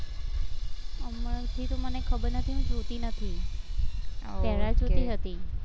હમણાંથી તો મને ખબર નથી હું જોતી નથી પેલા જોતી હતી